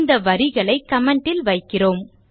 இந்த வரிகளை comment ல் வைக்கிறேன்